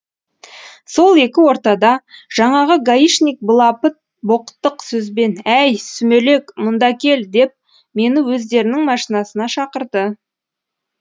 сол екі ортада жаңағы гаишник былапыт боқтық сөзбен әй сүмелек мұнда кел деп мені өздерінің машинасына шақырды